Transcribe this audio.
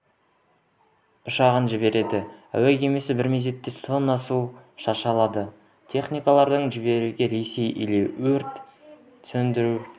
ұшағын жіберді әуе кемесі бір мезетте тонна су шаша алады сонымен қатар әлемдегі ең үлкен